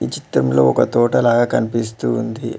చిత్తంలో ఒక తోట లాగా కనిపిస్తూ ఉంది.